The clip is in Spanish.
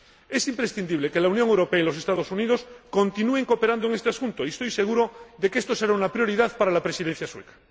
Es imprescindible que la Unión Europea y los Estados Unidos continúen cooperando en este asunto, y estoy seguro de que esto será una prioridad para la Presidencia sueca.